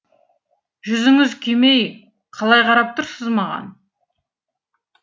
жүзіңіз күймей қалай қарап тұрсыз маған